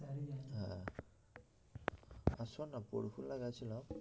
আর শোন না পরফুলা গেছিলাম